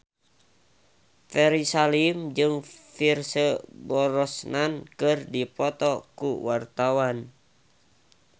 Ferry Salim jeung Pierce Brosnan keur dipoto ku wartawan